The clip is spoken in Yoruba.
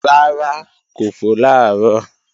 Rárá kò fò làárọ̀